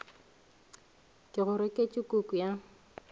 ke go reketše kuku ya